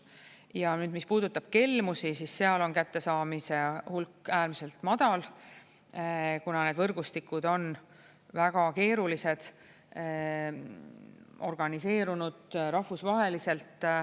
Ja mis puudutab kelmusi, siis seal on kättesaamise hulk äärmiselt madal, kuna need võrgustikud on väga keerulised, organiseerunud rahvusvaheliselt.